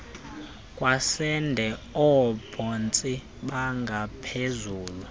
kwesende oobhontsi bengaphezulu